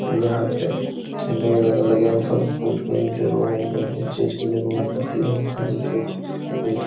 यहाँ पे ठेले वगैरह लगे हैं फल फ्रूट के जो लोगो को जीस चीज़ की जरुरत होती है वो चीज़ --